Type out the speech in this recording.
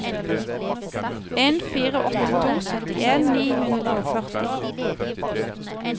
en fire åtte to syttien ni hundre og førti